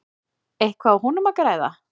Eitthvað á honum að græða?